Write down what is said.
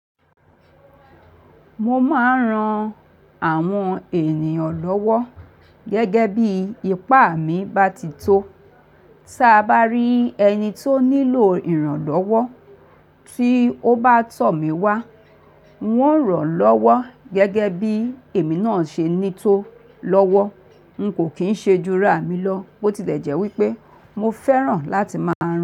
Mo máa ń ran àwọn ènìyàn lọ́wọ́ gẹ́gẹ́ bí ipá mi bá ti tó. Tí a bá rí ẹni tó nílò ìrànlọ́wọ́ tí ó bá tọ̀ mí wá, ń ò ràn lọ́wọ́ gẹ́gẹ́ bí èmi náà ṣe ní tó lọ́wọ́. N kò kín ṣe ju ra mi lọ, bó ti tẹ̀jẹ́ wípé mo fẹ́ràn láti máa ń ràn.